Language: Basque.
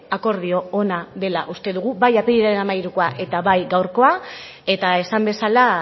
akordio ona dela uste dugu bai apirilaren hamairukoa eta bai gaurkoa eta esan bezala